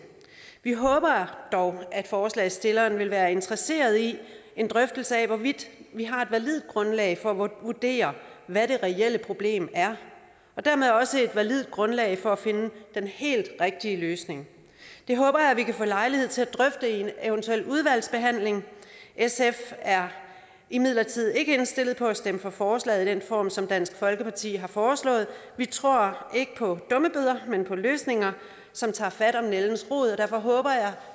vi håber dog at forslagsstilleren vil være interesseret i en drøftelse af hvorvidt vi har et validt grundlag for at vurdere hvad det reelle problem er og dermed også et validt grundlag for at finde den helt rigtige løsning det håber jeg vi kan få lejlighed til at drøfte i en eventuel udvalgsbehandling sf er imidlertid ikke indstillet på at stemme for forslaget i den form som dansk folkeparti har foreslået vi tror ikke på dummebøder men på løsninger som tager fat om nældens rod og derfor håber jeg